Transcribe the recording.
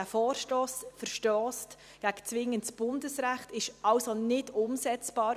Der Vorstoss verstösst gegen zwingendes Bundesrecht, er ist also nicht umsetzbar.